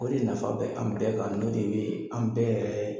O de nafa bɛ an bɛɛ kan n'o de bɛ an bɛɛ